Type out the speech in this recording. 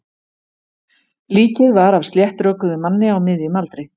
Líkið var af sléttrökuðum manni á miðjum aldri.